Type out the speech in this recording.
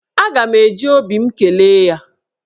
Aga m eji obi m kelee ya.